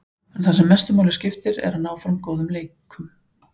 En það sem mestu máli skiptir er að ná fram góðum leikum.